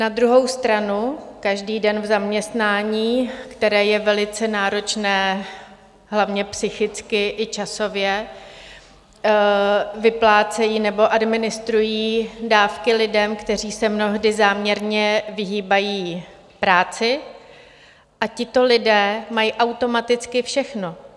Na druhou stranu každý den v zaměstnání, které je velice náročné, hlavně psychicky i časově, vyplácejí nebo administrují dávky lidem, kteří se mnohdy záměrně vyhýbají práci, a tito lidé mají automaticky všechno.